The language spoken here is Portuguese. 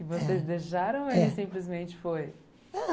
E vocês deixaram ou ele simplesmente foi?